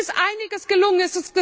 Es ist einiges gelungen.